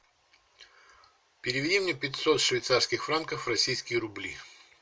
переведи мне пятьсот швейцарских франков в российские рубли